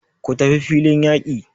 Ku tafi filin yaki!